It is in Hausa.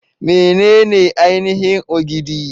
Menene ainihin Ogidi?